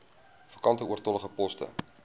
vakante oortollige poste